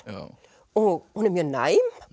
og hún er mjög næm